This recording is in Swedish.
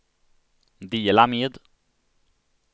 dela med